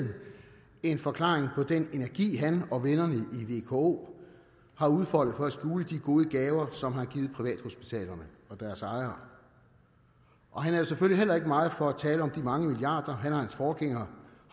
en forklaring på den energi han og vennerne i vko har udfoldet for at skjule de gode gaver som de har givet privathospitalerne og deres ejere han er selvfølgelig heller ikke meget for at tale om de mange milliarder han og hans forgængere